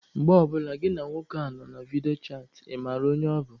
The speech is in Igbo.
Mgbe ọ bụla gịnị na nwoke a nọ na vidio chatị, ị mara onye ọ bụ?